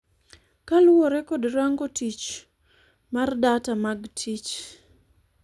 kaluwore kod Rango Tich mar Data mag Tich